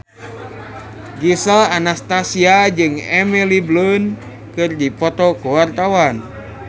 Gisel Anastasia jeung Emily Blunt keur dipoto ku wartawan